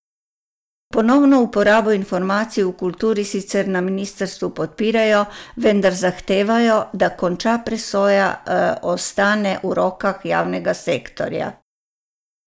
Ponovno uporabo informacij v kulturi sicer na ministrstvu podpirajo, vendar zahtevajo, da konča presoja ostane v rokah javnega sektorja.